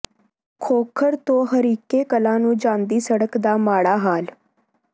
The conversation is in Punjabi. ਖੋਖਰ ਤੋਂ ਹਰੀਕੇ ਕਲਾਂ ਨੂੰ ਜਾਂਦੀ ਸੜਕ ਦਾ ਮਾੜਾ ਹਾਲ